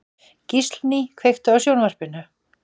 Gíslný, kveiktu á sjónvarpinu.